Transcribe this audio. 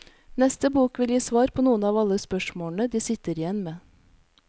Neste bok vil gi svar på noen av alle de spørsmålene de sitter igjen med.